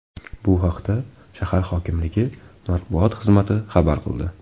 Bu haqda shahar hokimligi matbuot xizmati xabar qildi .